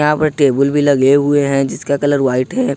Table भी लगे हुए हैं जिसका कलर व्हाइट है।